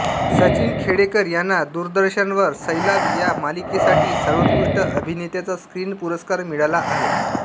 सचिन खेडेकर यांना दूरदर्शनवर सैलाब या मलिकेसाठी सर्वोत्कृष्ट अभिनेत्याचा स्क्रिन पुरस्कार मिळाला आहे